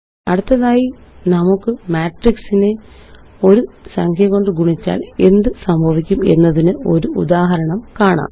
അടുത്തതായി നമുക്ക് മാട്രിക്സിനെ ഒരു സംഖ്യ കൊണ്ട് ഗുണിച്ചാല് എന്ത്സംഭവിക്കും എന്നതിനൊരു ഉദാഹരണം കാണാം